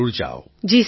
Tarannum Khan ji sir